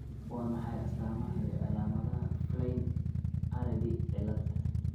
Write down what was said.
Waa maxay astamaha iyo calaamadaha Flynn Aredy cilad?